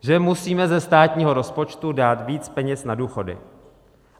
Že musíme ze státního rozpočtu dát víc peněz na důchody.